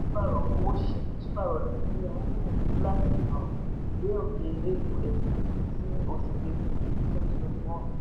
pàṣípààrọ̀ owó ṣíṣe pàṣípààrọ̀ nàìjíríà ń gbìyànjú láti um dé òkè aum ti oṣù kejì twenty twenty one